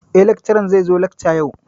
Eh, lakcaran zai zo lakca yau.